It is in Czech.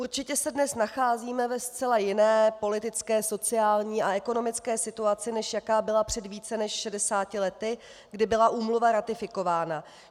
Určitě se dnes nacházíme ve zcela jiné politické, sociální a ekonomické situaci, než jaká byla před více než 60 lety, kdy byla úmluva ratifikována.